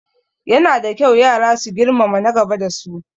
Yana da kyau yara su girmama na gaba da su